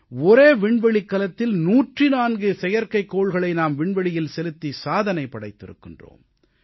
ஒரே விண்வெளிக்கலத்தில் 104 செயற்கைக்கோள்களை நாம் விண்வெளியில் செலுத்தி சாதனை படைத்திருக்கிறோம்